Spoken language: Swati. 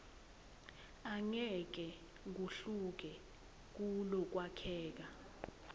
angeke kuhluke kulokwakheka